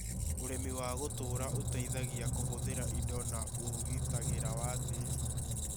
Ũrĩmi wa gũtũũra ũteithagia kũhũthĩra indo na ũgitagĩra wa tĩĩri